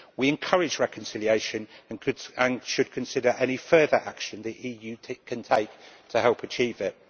We encourage reconciliation, and should consider any further action the EU take can take to help achieve it.